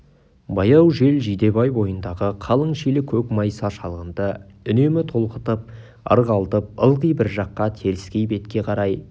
баяу жел жидебай бойындағы қалың шилі көк майса шалғынды үнемі толқытып ырғалтып ылғи бір жаққа теріскей бетке қарай